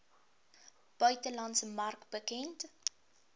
buitelandse mark bekend